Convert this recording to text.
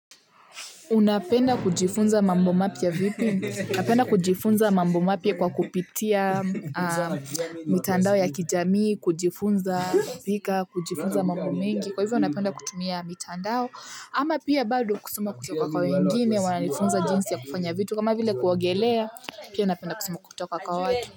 Unapenda kujifunza mambo mapya vipi? Napenda kujifunza mambo mapya kwa kupitia mitandao ya kijamii, kujifunza kupika, kujifunza mambo mingi. Kwa hivyo napenda kutumia mitandao ama pia bado kusoma kutoka kwa wengine, wananifunza jinsi ya kufanya vitu kama vile kuogelea, pia napenda kusoma kutoka kwa watu.